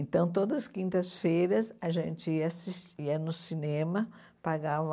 Então, todas as quintas-feiras, a gente assis ia no cinema, pagava...